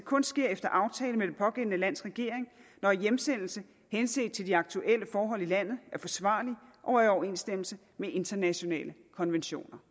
kun sker efter aftale med det pågældende lands regering når hjemsendelse henset til de aktuelle forhold i landet er forsvarlig og i overensstemmelse med internationale konventioner